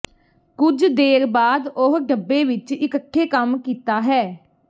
ਕੁਝ ਦੇਰ ਬਾਅਦ ਉਹ ਡੱਬੇ ਵਿਚ ਇਕੱਠੇ ਕੰਮ ਕੀਤਾ ਹੈ